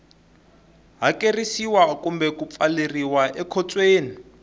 hakerisiwa kumbe ku pfaleriwa ekhotsweni